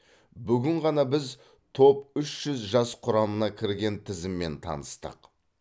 бүгін ғана біз топ үш жүз жас құрамына кірген тізіммен таныстық